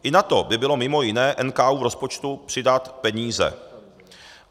I na to by bylo mimo jiné NKÚ v rozpočtu přidat peníze.